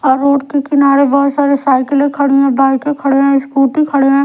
और रोड के किनारे बहोत सारे साइकिलें खड़ी हैं बाईकें खड़े हैं स्कूटी खड़े हैं।